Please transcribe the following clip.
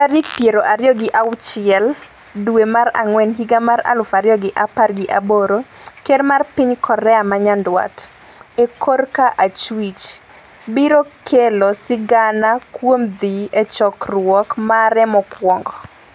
tarik piero ariyo gi auchiel dwe mar ang'wen higa mar aluf ariyo gi apar gi aboro Ker mar piny Korea ma Nyanduat (e korka achwich) biro kelo sigana kuom dhi e chokruok mare mokwongo.